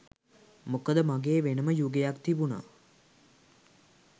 මොකද මගේ වෙනම යුගයක් තිබුණා.